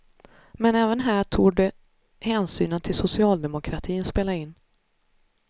Men även här torde hänsynen till socialdemokratin spela in.